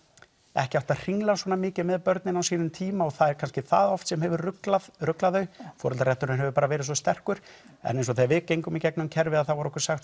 ekki átt að hringla svona mikið með börnin á sínum tíma og það er kannski ekki það oft sem hefur ruglað ruglað þau foreldrarétturinn hefur bara verið svo sterkur en eins og þegar við gengum í gegnum kerfið þá var okkur sagt